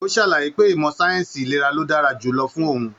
O sàlàyé pé ìmọ sáyẹnsì ìlera ló dára jùlọ fún òun.